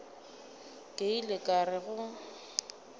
ke ile ka re go